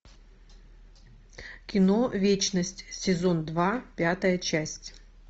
кино вечность сезон два пятая часть